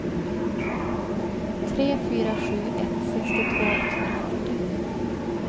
tre fyra sju ett sextiotvå etthundrafyrtio